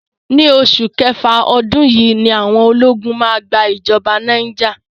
Ni oṣù kẹfà ọdún yìí ni àwọn ológun máa gba ìjọba ní Niger.